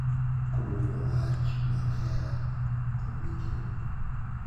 Kodwoko wach mar hera kod winjruok